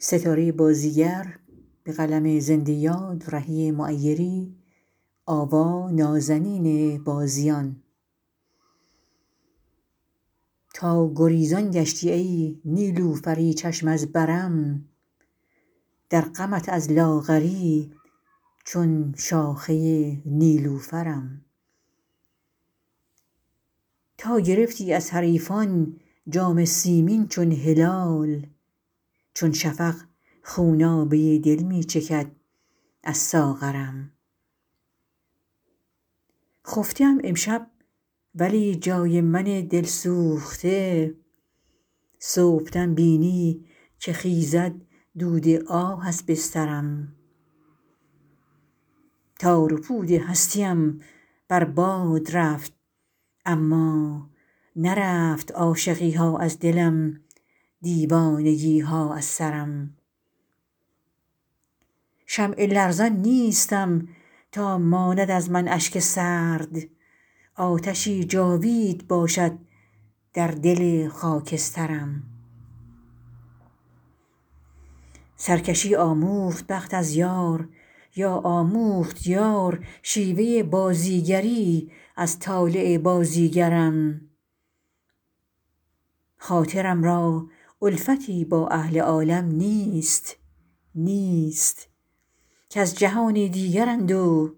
تا گریزان گشتی ای نیلوفری چشم از برم در غمت از لاغری چون شاخه نیلوفرم تا گرفتی از حریفان جام سیمین چون هلال چون شفق خونابه دل می چکد از ساغرم خفته ام امشب ولی جای من دل سوخته صبحدم بینی که خیزد دود آه از بسترم تار و پود هستی ام بر باد رفت اما نرفت عاشقی ها از دلم دیوانگی ها از سرم شمع لرزان نیستم تا ماند از من اشک سرد آتشی جاوید باشد در دل خاکسترم سرکشی آموخت بخت از یار یا آموخت یار شیوه بازیگری از طالع بازیگرم خاطرم را الفتی با اهل عالم نیست نیست کز جهانی دیگرند و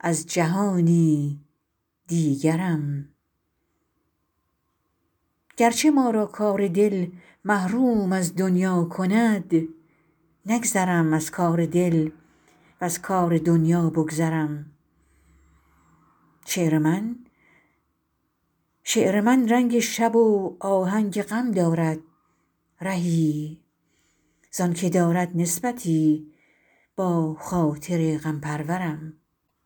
از جهانی دیگرم گرچه ما را کار دل محروم از دنیا کند نگذرم از کار دل وز کار دنیا بگذرم شعر من رنگ شب و آهنگ غم دارد رهی زآنکه دارد نسبتی با خاطر غم پرورم